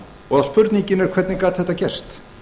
og spurningin er hvernig gat þetta gerst